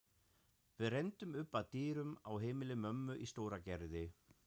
Við renndum upp að dyrum á heimili mömmu í Stóragerði.